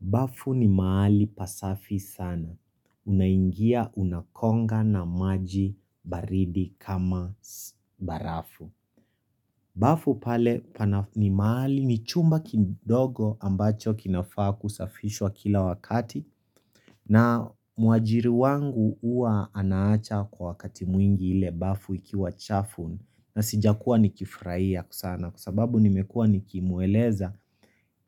Bafu ni mahali pasafi sana. Unaingia unakonga na maji baridi kama barafu. Bafu pale ni mahali ni chumba kidogo ambacho kinafaa kusafishwa kila wakati na muajiri wangu huwaanaacha kwa wakati mwingi ile bafu ikiwa chafu na sijakuwa nikifrahia sana kwa sababu nimekuwa nikimueleza.